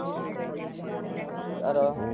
ତାର